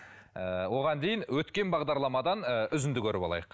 ыыы оған дейін өткен бағдарламадан үзінді і көріп алайық